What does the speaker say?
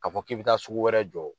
K'a fɔ k'i bɛ taa sugu wɛrɛ jɔ